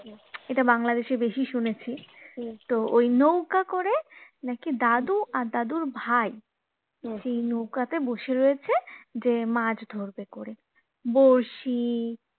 এটা বাংলাদেশে বেশি শুনেছি তো ওই নৌকা করে নাকি দাদু আর দাদুর ভাই সেই নৌকাতে বসে রয়েছে যে মাছ ধরবে করে বড়শি